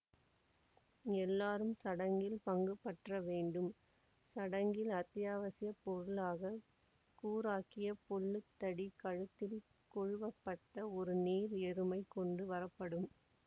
எல்லோரும் சடங்கில் பங்குபற்ற வேண்டும் சடங்கின் அத்தியாவசிய பொருளாக கூராக்கிய பொல்லுத்தடி கழுத்தில் கொழுவப்பட்ட ஒரு நீர் எருமை கொண்டு வரப்படும்